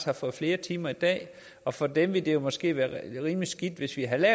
har fået flere timer i dag og for dem ville det jo måske have været rimelig skidt hvis vi havde